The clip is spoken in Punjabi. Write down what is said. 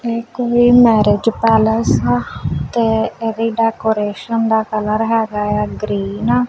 ਇਹ ਕੋਈ ਮੈਰਿਜ ਪੈਲਸ ਹਾ ਤੇ ਏਦ੍ਹੀ ਡੈਕੋਰੇਸ਼ਨ ਦਾ ਕਲਰ ਹੈਗਾ ਹੈ ਗਰੀਨ ।